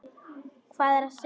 Hvað er að sjá